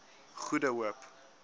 goede hoop